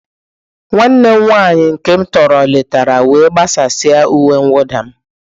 Nwanne m nwanyị nke m tọrọ letara wee gbasasịa uwe mwụda m.